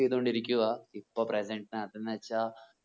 ചെയ്തോണ്ടിരിക്കുവാ ഇപ്പൊ present നാതുന്ന് വെച്ചാ